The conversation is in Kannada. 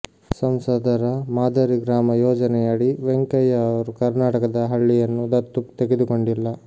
ಸಂಸದರ ಮಾದರಿ ಗ್ರಾಮ ಯೋಜನೆಯಡಿ ವೆಂಕಯ್ಯ ಅವರು ಕರ್ನಾಟಕದ ಹಳ್ಳಿಯನ್ನು ದತ್ತು ತೆಗೆದುಕೊಂಡಿಲ್ಲ